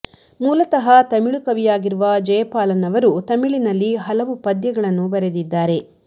ಮೂಲತಃ ತಮಿಳು ಕವಿಯಾಗಿರುವ ಜೆಯಪಾಲನ್ ಅವರು ತಮಿಳಿನಲ್ಲಿ ಹಲವು ಪದ್ಯಗಳನ್ನು ಬರೆದಿದ್ದಾರೆ